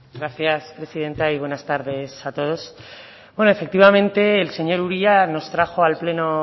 gracias presidenta y buenas tardes a todos bueno efectivamente el señor uria nos trajo al pleno